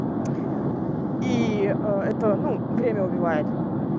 и это ну время убивает